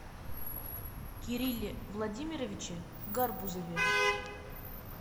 кирилле владимировиче гарбузове